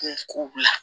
Kunko bila